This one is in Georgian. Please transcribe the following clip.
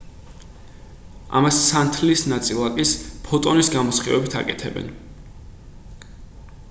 ამას სინათლის ნაწილაკის ფოტონის გამოსხივებით აკეთებენ